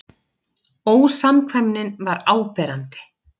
Ósamkvæmnin var áberandi.